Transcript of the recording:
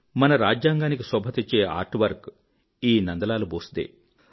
మన రాజ్యాంగానికి శోభతెచ్చే ఆర్ట్ వర్క్ ఈ నందలాల్ బోస్ దే